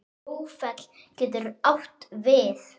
Búrfell getur átt við